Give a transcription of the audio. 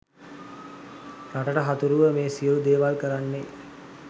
රටට හතුරුව මේ සියළු දේවල් කරන්නේ.